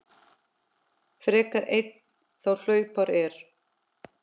frekar einn þá hlaupár er.